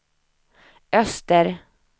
öster